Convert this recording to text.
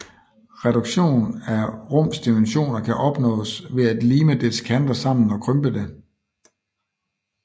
Reduktion af et rums dimensioner kan opnås ved at lime dets kanter sammen og krympe det